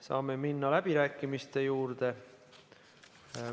Saame minna läbirääkimiste juurde.